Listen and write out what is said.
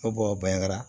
O bɔ bangara